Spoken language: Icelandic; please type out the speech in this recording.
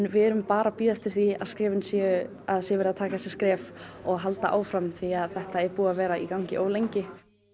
við erum bara að bíða eftir því að skrefin séu að sé verið að taka þessi skref og haldið áfram því þetta er búið að vera í gangi of lengi